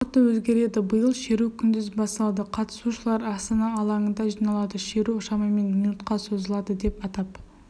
уақыты өзгереді биыл шеру күндіз басталады қатысушылар астана алаңында жиналады шеру шамамен минутқа созылады деп атап